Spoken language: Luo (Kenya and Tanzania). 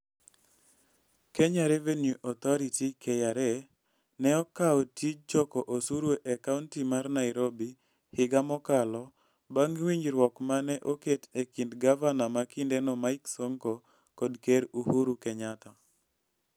Kenya Revenue Authority (KRA) ne okawo tij choko osuru e Kaunti mar Nairobi higa mokalo bang' winjruok ma ne oket e kind gavana ma kindeno Mike Sonko kod Ker Uhuru Kenyatta.